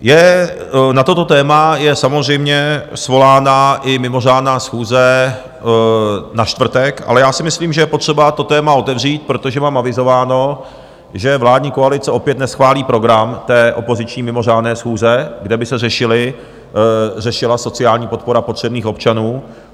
Na toto téma je samozřejmě svolána i mimořádná schůze na čtvrtek, ale já si myslím, že je potřeba to téma otevřít, protože mám avizováno, že vládní koalice opět neschválí program té opoziční mimořádné schůze, kde by se řešila sociální podpora potřebných občanů.